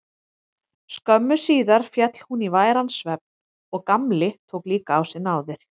Skömmu síðar féll hún í væran svefn og Gamli tók líka á sig náðir.